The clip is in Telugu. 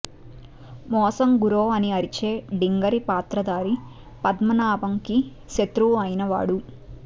మోసం గురో అని అరిచే డింగరి పాత్రధారి పద్మనాభంకి శత్రువు అయిన వాడు